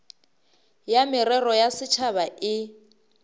ya merero ya setšhaba e